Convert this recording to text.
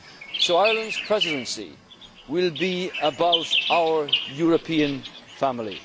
always been faithful. So Ireland's Presidency will be about